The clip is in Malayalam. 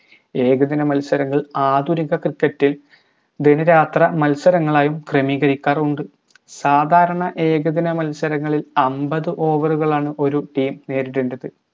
ഏകദിന മത്സരങ്ങൾ ആധുനിക cricket ഇൽ ദിനരാത്ര മത്സരങ്ങളായും ക്രമീകരിക്കാറുണ്ട് സാദാരണ ഏകദിന മത്സരങ്ങളിൽ അമ്പത് over കളാണ് ഒര് team നേരിടേണ്ടത്